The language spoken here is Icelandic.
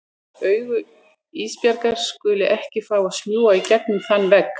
Augu Ísbjargar skulu ekki fá að smjúga í gegnum þann vegg.